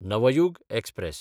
Navyug express